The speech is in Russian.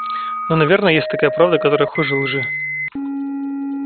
но наверное есть такая правда которая хуже лжи